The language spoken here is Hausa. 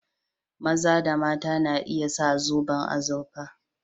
Maza da mata na iya sa zoban azurfa